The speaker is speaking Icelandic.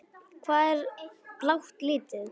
Hvað er blátt lítið?